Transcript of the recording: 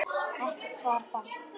Ekkert svar barst.